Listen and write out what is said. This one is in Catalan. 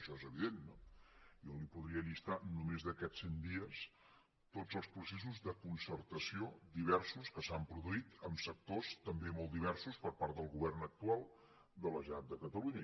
això és evident no jo li podria llistar només d’aquests cent dies tots els processos de concertació diversos que s’han produït en sectors també molt diversos per part del govern actual de la generalitat de catalunya